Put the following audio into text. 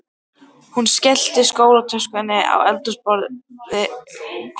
Hún skellti skólatöskunni á eldhúsgólfið með háum dynk.